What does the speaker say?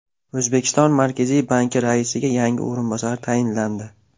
O‘zbekiston Markaziy banki raisiga yangi o‘rinbosar tayinlandi.